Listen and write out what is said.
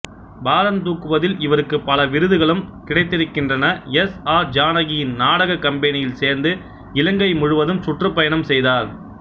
பாரந்தூக்குவதில் இவருக்கு பல விருதுகளும் கிடைத்திருக்கின்றன எஸ் ஆர் ஜானகியின் நாடகக் கம்பெனியில் சேர்ந்து இலங்கை முழுவதும் சுற்றுப்பயணம் செய்தார்